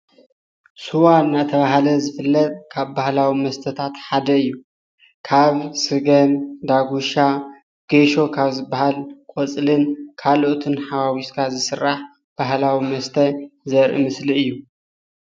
ስዋ እናተብሃለ ዝፍለጥ ካብ ባህላዊ መስተታት ሓደ እዩ። ካብ ስገም፣ ዳጉሻ፣ ጌሾ ካብ ዝብሃል ቆፅልን ካልኦትን ሓዋዊስካ ዝስራሕ ባህላዊ መስተ ዘርኢ ምስሊ እዩ።